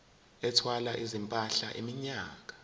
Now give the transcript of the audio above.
ethwala izimpahla iminyaka